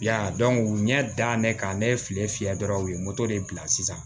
Ya dɔn u ɲɛ da ne kan ne ye file fiyɛ dɔrɔn u ye moto de bila sisan